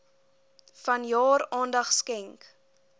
vanjaar aandag skenk